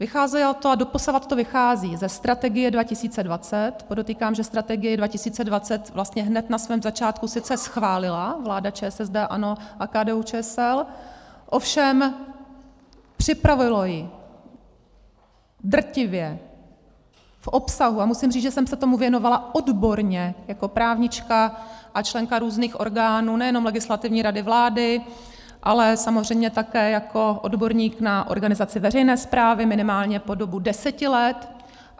Vycházelo to a doposavad to vychází ze Strategie 2020 - podotýkám, že Strategii 2020 vlastně hned na svém začátku sice schválila vláda ČSSD, ANO a KDU-ČSL, ovšem připravilo ji drtivě v obsahu, a musím říct, že jsem se tomu věnovala odborně jako právnička a členka různých orgánů, nejenom Legislativní rady vlády, ale samozřejmě také jako odborník na organizaci veřejné správy, minimálně po dobu deseti let.